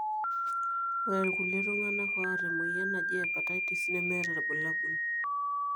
ore ilkulie tunganaa oata emoyian najii hepatitis nemeeta ilbulabul.